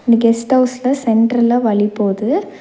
இந்த கெஸ்ட் அவுஸ்ல சென்ட்ர்ல வழி போது.